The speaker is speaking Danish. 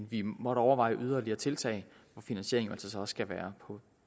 vi måtte overveje yderligere tiltag hvor finansieringen altså så også skal være